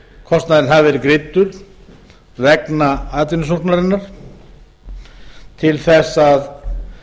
kostnaðurinn hafi verið greiddur vegna atvinnusóknarinnar til þess að